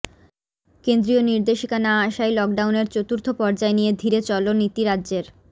কেন্দ্রীয় নির্দেশিকা না আসায় লকডাউনের চতুর্থ পর্যায় নিয়ে ধীরে চলো নীতি রাজ্যের